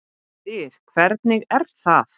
DYR, HVERNIG ER ÞAÐ!